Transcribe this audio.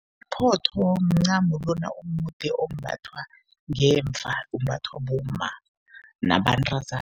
Iphotho mncamo lona omude ombathwa ngemva, umbathwa bomma nabantazana.